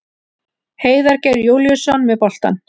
Heiðar Geir Júlíusson með boltann.